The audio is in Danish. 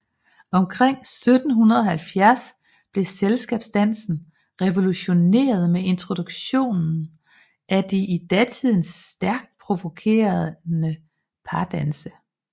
Omkring 1770 blev selskabsdansen revolutioneret med introduktionen af de i datiden stærkt provokerende pardanse